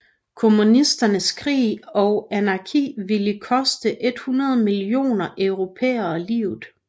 Kommunisternes krig og anarki ville koste 100 millioner europæere livet